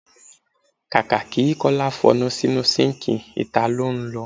Kàkà kí Kọ́lá f'ọnu sínu síǹkì, ìta lọ́ ń lọ.